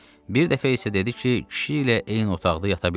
Bir dəfə isə dedi ki, kişi ilə eyni otaqda yata bilmir.